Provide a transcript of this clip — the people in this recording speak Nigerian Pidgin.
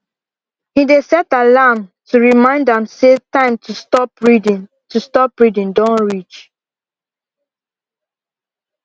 him dey set alarm to remind am say time to stop reading to stop reading don reach